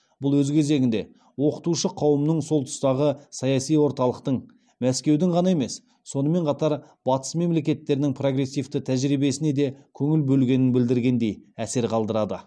бұл өз кезегінде оқытушы қауымның сол тұстағы саяси орталықтың мәскеудің ғана емес сонымен қатар батыс мемлекеттерінің прогрессивті тәжірибесіне де көңіл бөлгенін білдіргендей әсер қалдырады